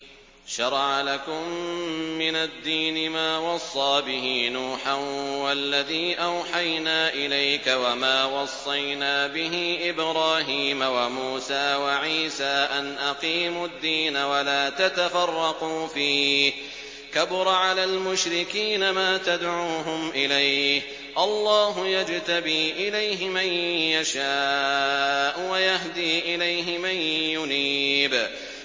۞ شَرَعَ لَكُم مِّنَ الدِّينِ مَا وَصَّىٰ بِهِ نُوحًا وَالَّذِي أَوْحَيْنَا إِلَيْكَ وَمَا وَصَّيْنَا بِهِ إِبْرَاهِيمَ وَمُوسَىٰ وَعِيسَىٰ ۖ أَنْ أَقِيمُوا الدِّينَ وَلَا تَتَفَرَّقُوا فِيهِ ۚ كَبُرَ عَلَى الْمُشْرِكِينَ مَا تَدْعُوهُمْ إِلَيْهِ ۚ اللَّهُ يَجْتَبِي إِلَيْهِ مَن يَشَاءُ وَيَهْدِي إِلَيْهِ مَن يُنِيبُ